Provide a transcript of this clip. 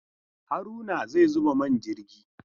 Haruna zai zuba man jirgi!